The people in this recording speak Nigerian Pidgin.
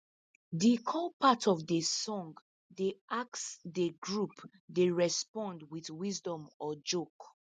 de call part of de song dey ask de group dey respond wit wisdom or joke